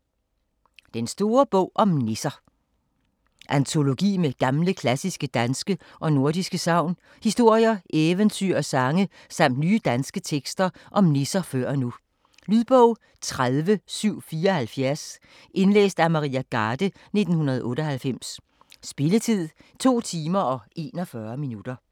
Den store bog om nisser Antologi med gamle, klassiske danske og nordiske sagn, historier, eventyr og sange samt nye danske tekster om nisser før og nu. Lydbog 30774 Indlæst af Maria Garde, 1998. Spilletid: 2 timer, 41 minutter.